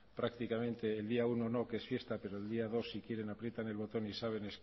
prácticamente el día uno no que es fiesta pero el día dos si quieren aprietan el botón y saben